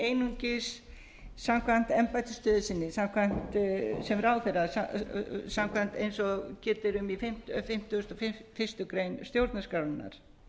einungis samkvæmt embættisstöðu sinni sem ráðherra samkvæmt eins og getur um í fimmtugasta og fyrstu grein stjórnarskrárinnar